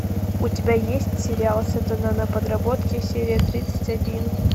у тебя есть сериал сатана на подработке серия тридцать один